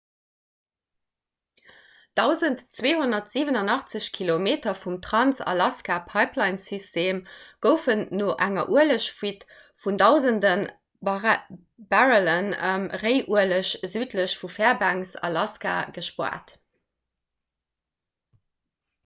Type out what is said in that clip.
1287 kilometer vum trans-alaska-pipelinesystem goufen no enger uelegfuite vun dausende barrelle réiueleg südlech vu fairbanks alaska gespaart